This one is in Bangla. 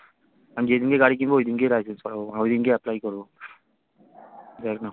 আমি যেদিনকে গাড়ি কিনবো ওইদিনকেই license করাবো বাড়া ওইদিনকেই apply করবো দেখনা